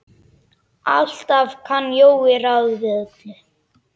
Alltaf kann Jói ráð við öllu.